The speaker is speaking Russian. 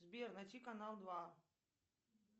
сбер найти канал два